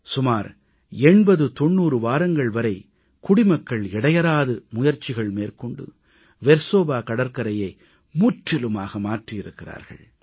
சுமார் 8090 வாரங்கள் வரை குடிமக்கள் இடையறாது முயற்சிகள் மேற்கொண்டு வெர்சோவா கடற்கரையை முற்றிலுமாக மாற்றியிருக்கிறார்கள்